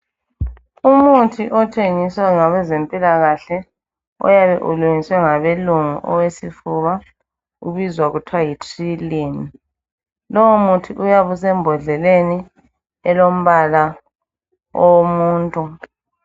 Umuthi othengiswa ngabezempilaka. uyabe ulungiswe ngabeLungu, owesifuba. Ubiza kuthiwa yiTrilyn. Lowomuthi uyabe usembodleleni, elombala, owomuntu.